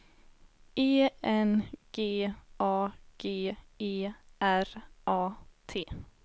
E N G A G E R A T